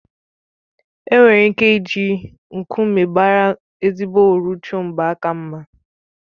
Enwere ike iji nkume bàrá ezigbo uru chọọ mgbaaka mma